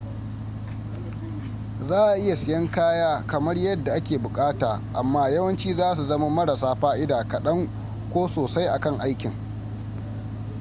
za a iya siyan kaya kamar yadda ake bukata, amma yawanci zasu zama marasa fa’ida kadan ko sosai akan aikin